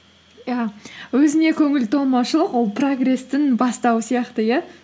иә өзіңе көңіл толмаушылық ол прогресстің бастауы сияқты иә